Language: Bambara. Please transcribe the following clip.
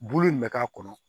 Bulu in bɛ k'a kɔnɔ